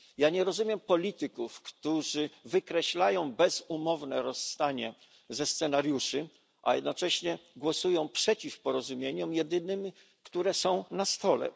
Nie rozumiem polityków, którzy wykreślają bezumowne rozstanie ze scenariuszy, a jednocześnie głosują przeciw porozumieniom jedynym, które są na stole.